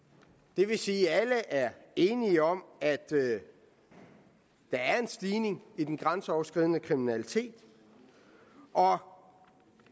det vil sige at alle er enige om at der er en stigning i den grænseoverskridende kriminalitet og